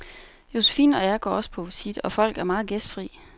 Josefine og jeg går også på visit, og folk er meget gæstfrie.